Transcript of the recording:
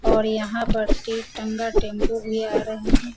और यहाँ पर एक टाँगा टेम्पू भी आ रहें हैं।